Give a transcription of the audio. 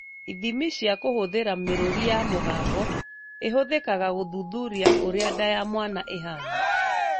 Ithimi cia kũhũthĩra mĩrũri ya mũgambo ĩhũthĩkaga gũthuthuria ũrĩa nda ya mwana ĩhana